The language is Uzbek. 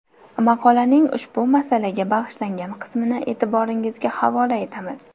Maqolaning ushbu masalaga bag‘ishlangan qismini e’tiboringizga havola etamiz.